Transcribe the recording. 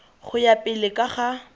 go ya pele ka ga